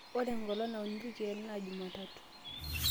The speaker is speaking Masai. ore enkolong' nauni ilkeek naa jumatatu